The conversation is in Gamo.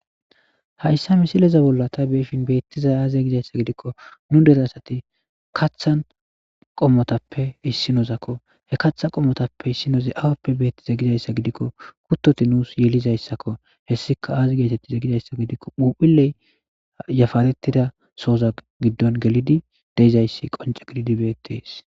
Hayssa misileza bolla ta beeshin beettizay aaze gizayssa gidikko nu dere asati kathan qommotappe issinosakko he katha qommotappe issinoze awappe beettiza gizayssa gidikko kuttoti nuus yelizayssakko hessika aazi geetettize gizayssa gidikko muphiley yafaarettida sooza giddon gelidi deyizayssi qonce gelidi beettees.